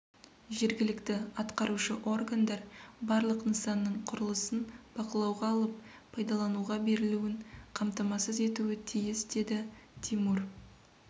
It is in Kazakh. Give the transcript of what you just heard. жергілікті атқарушы органдар барлық нысанның құрылысын бақылауға алып пайдалануға берілуін қамтамасыз етуі тиіс деді тимур